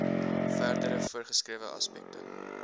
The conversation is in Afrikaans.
verdere voorgeskrewe aspekte